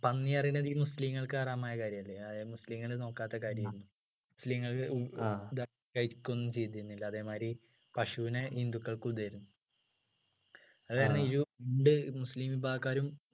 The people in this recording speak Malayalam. പന്നി പറയുന്നത് ഈ മുസ്ലിങ്ങൾക്ക് ഹറാമായ കാര്യമല്ലേ അതായെ മുസ്ലിങ്ങൾ നോക്കാത്ത കാര്യമാണ് മുസ്ലിങ്ങൾക്ക് കഴിക്കുകയൊന്നും ചെയ്തിരുന്നില്ല അതേമാതിരി പശുവിനെ ഹിന്ദുക്കൾക്കു ഇതായിരുന്നു അതുകാരണം ഇരു രണ്ട്‌ മുസ്ലിം വിഭാഗക്കാരും